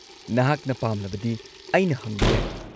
ꯅꯍꯥꯛꯅ ꯄꯥꯝꯂꯕꯗꯤ ꯑꯩꯅ ꯍꯪꯕ ꯌꯥꯏ꯫